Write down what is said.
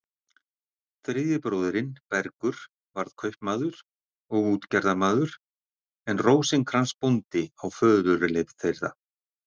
Þriðji bróðirinn, Bergur, varð kaupmaður og útgerðarmaður en Rósinkrans bóndi á föðurleifð þeirra.